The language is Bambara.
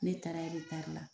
Ne taara la.